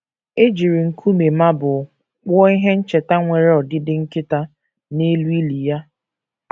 E jiri nkume marble kpụọ ihe ncheta nwere ọdịdị nkịta, n’elu ili ya.